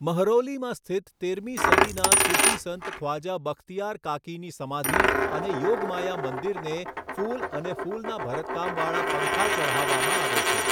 મહરૌલીમાં સ્થિત તેરમી સદીના સૂફી સંત ખ્વાજા બખ્તિયાર કાકીની સમાધિ અને યોગમાયા મંદિરને ફૂલ અને ફૂલના ભરતકામવાળા પંખા ચઢાવવામાં આવે છે.